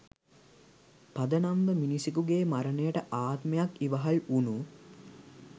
පදනම්ව මිනිසෙකුගේ මරණයට ආත්මයක් ඉවහල් වුනු